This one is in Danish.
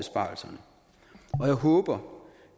jeg håber